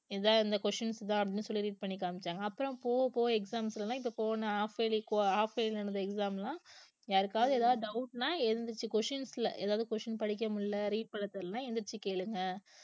இத இந்த questions தான் அப்படின்னு சொல்லி read பண்ணி காமிச்சாங்க அப்புறம் போக போக exams ல எல்லாம் இப்ப போன half yearly halfyearly நடந்த exam எல்லாம் யாருக்காவது ஏதாவது doubt ன்னா எழுந்திருச்சு questions ல ஏதாவது question படிக்க முடியலை read பண்ண தெரியலைன்னா எந்திரிச்சு கேளுங்க